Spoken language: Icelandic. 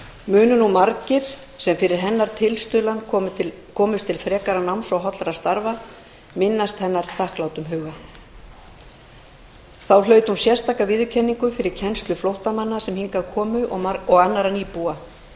munu nú margir sem fyrir hennar tilstuðlan komust til frekara náms og hollra starfa minnast hennar þakklátum huga þá hlaut hún sérstaka viðurkenningu fyrir kennslu flóttamanna sem hingað komu og annarra nýbúa